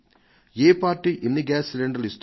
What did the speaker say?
ఏ party ఎన్ని gas సిలిండర్లు ఇస్తోంది